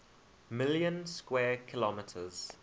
million square kilometers